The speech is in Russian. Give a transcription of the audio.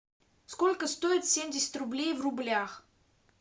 сколько стоит семьдесят рублей в рублях